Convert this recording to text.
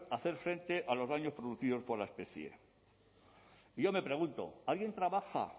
hacer frente a los daños producidos por la especie y yo me pregunto alguien trabaja